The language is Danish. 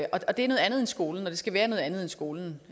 andet end skolen og det skal være noget andet end skolen